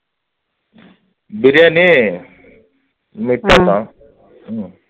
பிரியாணி சாதம்